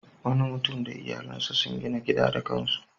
Wani mutum da iyalansa sun gina gida da kan su.